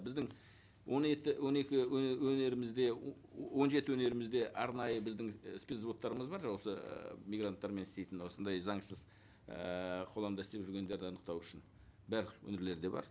біздің он он екі өңірімізде он жеті өңірімізде арнайы біздің і спец взводтарымыз бар осы ы мигранттармен істейтін осындай заңсыз ііі істеп жүргендерді анықтау үшін барлық өңірлерде бар